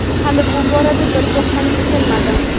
Hali bu borada bir to‘xtamga kelmadim.